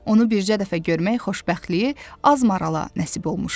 Onu bircə dəfə görmək xoşbəxtliyi az marala nəsib olmuşdu.